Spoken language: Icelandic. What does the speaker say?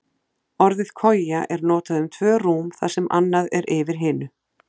Orðið koja er notað um tvö rúm þar sem annað er yfir hinu.